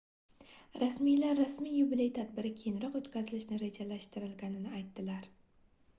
rasmiylar rasmiy yubiley tadbiri keyinroq oʻtkazilishi rejalashtirilganini aytdilar